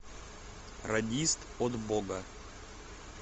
радист от бога